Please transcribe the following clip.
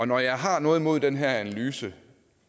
når jeg har noget imod den her analyse